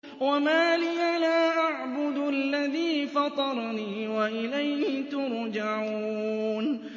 وَمَا لِيَ لَا أَعْبُدُ الَّذِي فَطَرَنِي وَإِلَيْهِ تُرْجَعُونَ